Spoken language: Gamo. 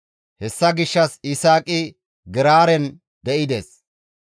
Hessa gishshas Yisaaqi Geraaren de7ides.